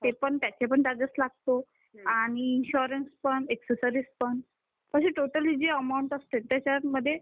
पण चार्जेस लागतो आणि इन्शुरन्स पण ॲक्सेसरीज पण अशी टोटली जी अमाऊंट असते त्याचा मध्ये